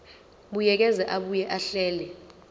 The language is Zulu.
buyekeza abuye ahlele